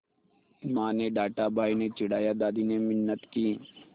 माँ ने डाँटा भाई ने चिढ़ाया दादी ने मिन्नत की